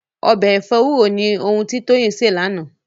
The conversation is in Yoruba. Ọbẹ̀ ẹ̀fọ́ ewúro ni ohun tí Toyin sè lánàá